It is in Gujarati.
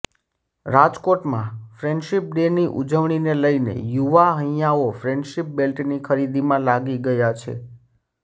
રાજકોટ માં ફ્રેન્ડશીપ ડે ની ઉજવણીને લઈને યુવા હૈયાઓ ફ્રેન્ડશીપ બેલ્ટની ખરીદીમાં લાગી ગયા છે